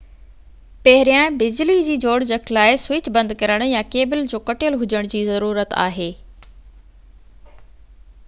پهريان بجلي جي جوڙجَڪ لاءِ سوئچ بند ڪرڻ يا ڪيبل جو ڪَٽيل هُجڻ جي ضرورت آهي